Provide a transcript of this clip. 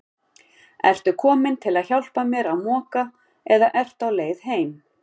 Ertu kominn til að hjálpa mér að moka eða ertu á leið heim?